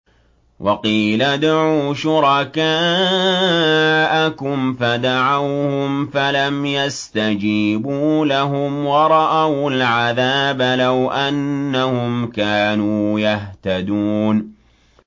وَقِيلَ ادْعُوا شُرَكَاءَكُمْ فَدَعَوْهُمْ فَلَمْ يَسْتَجِيبُوا لَهُمْ وَرَأَوُا الْعَذَابَ ۚ لَوْ أَنَّهُمْ كَانُوا يَهْتَدُونَ